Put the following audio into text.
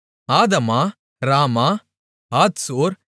ஆதமா ராமா ஆத்சோர்